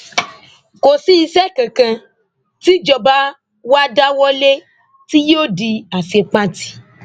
kò sí iṣẹ kankan tíjọba wa dáwọ lé tí yóò di àṣepatì